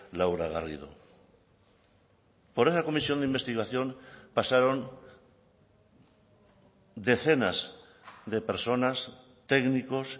laura garrido por esa comisión de investigación pasaron decenas de personas técnicos